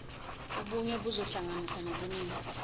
ubunye buzohlanganisa nobuningi